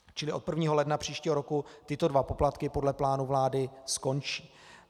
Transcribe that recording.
Čili od 1. ledna příštího roku tyto dva poplatky podle plánu vlády skončí.